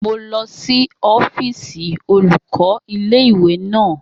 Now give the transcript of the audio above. Mo lọ sí ọ́fíìsì olùkọ́ ilé ìwé naa